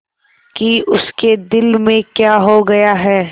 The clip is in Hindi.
कि उसके दिल में क्या हो गया है